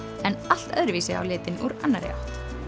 en allt öðru vísi á litinn úr annarri átt